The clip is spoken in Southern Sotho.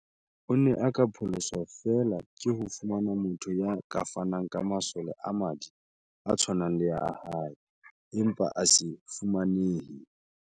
O ne a ka pholoswa feela ke ho fumana motho ya ka fanang ka masole a madi a tshwanang le a hae, empa a se fumanehe.